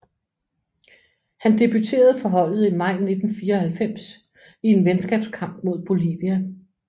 Han debuterede for holdet i maj 1994 i en venskabskamp mod Bolivia